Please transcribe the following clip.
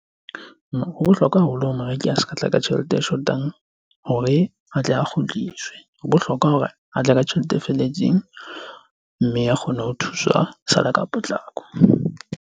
Ho bohlokwa haholo ho moreki a se ka tla ka tjhelete e shotang hore a tle a kgutliswe. Ho bohlokwa hore a tle ka tjhelete e felletseng mme a kgone ho thuswa sa le ka potlako.